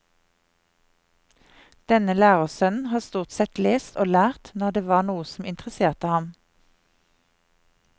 Denne lærersønnen har stort sett lest og lært når det var noe som interesserte ham.